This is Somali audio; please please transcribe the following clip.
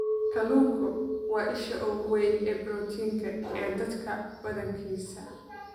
Kalluunku waa isha ugu weyn ee borotiinka ee dadka badankiisa.